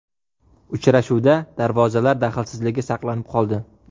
Uchrashuvda darvozalar daxlsizligi saqlanib qoldi.